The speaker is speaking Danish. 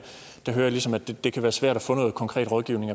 ligesom at det kan være svært at få noget konkret rådgivning